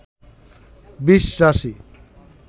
বৃষ রাশি